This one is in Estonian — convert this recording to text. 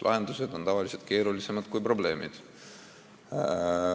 Lahendused on tavaliselt keerulisemad kui probleemid.